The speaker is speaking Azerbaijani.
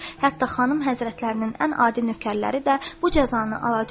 Hətta xanım həzrətlərinin ən adi nökərləri də bu cəzanı alacaqlar.